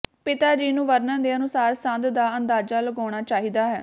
ਪਿਤਾ ਜੀ ਨੂੰ ਵਰਣਨ ਦੇ ਅਨੁਸਾਰ ਸੰਦ ਦਾ ਅੰਦਾਜ਼ਾ ਲਗਾਉਣਾ ਚਾਹੀਦਾ ਹੈ